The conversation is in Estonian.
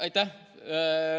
Aitäh!